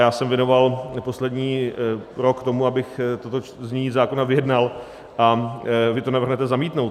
Já jsem věnoval poslední rok tomu, abych toto znění zákona vyjednal, a vy to navrhnete zamítnout.